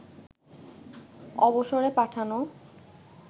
অবসরে পাঠানো